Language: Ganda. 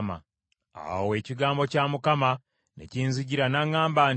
Awo ekigambo kya Mukama ne kinzijira n’aŋŋamba nti,